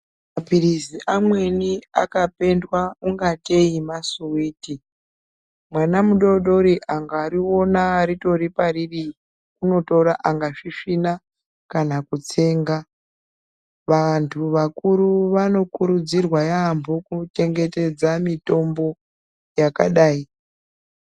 Maphirizi amweni akapendwa ungatei masuwiti .Mwana mudodori angariona ritori pariri ,unotora angasvisvina kana kutsenga. Vantu vakuru vanokurudzirwa yaampho kuchengetedza mitombo yakadai.